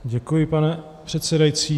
Děkuji, pane předsedající.